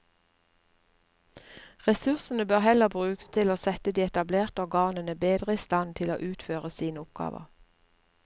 Ressursene bør heller brukes til å sette de etablerte organene bedre i stand til å utføre sine oppgaver.